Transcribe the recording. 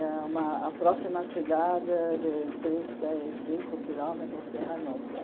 E é uma a próxima cidade de trinta e cinco quilômetros de Hannover.